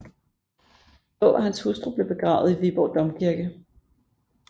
Daa og hans hustru blev begravet i Viborg Domkirke